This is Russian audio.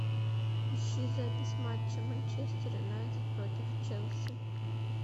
ищи запись матча манчестер юнайтед против челси